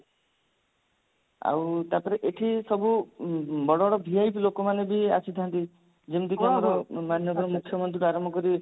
ଆଉ ତାପରେ ଏଠି ସବୁ ବଡ ବଡ VIP ଲୋକମାନେ ବି ଆସିଥାନ୍ତି ଯେମତି କି ଆମର ମାନ୍ୟବର ମୁଖ୍ୟମନ୍ତ୍ରୀଙ୍କ ଠୁ ଆରମ୍ଭ କରି